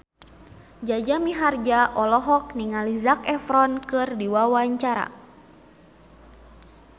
Jaja Mihardja olohok ningali Zac Efron keur diwawancara